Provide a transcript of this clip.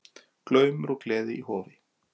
Glaumur og gleði í Hofi